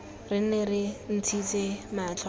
re nne re ntshitse matlho